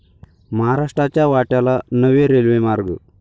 महाराष्ट्राच्या वाट्याला नवे रेल्वेमार्ग